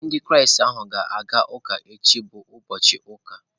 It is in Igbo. Ndị Kraịst ahụ ga-aga ụka echi bụ ụbọchị ụka.